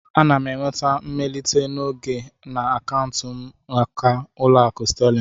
Ana m enweta mmelite n'oge na akaụntụ m n'aka Ụlọakụ Sterling